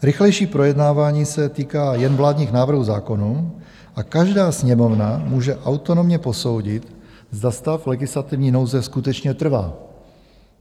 Rychlejší projednávání se týká jen vládních návrhů zákonů a každá Sněmovna může autonomně posoudit, zda stav legislativní nouze skutečně trvá.